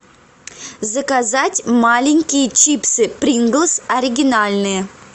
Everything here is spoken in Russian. заказать маленькие чипсы принглс оригинальные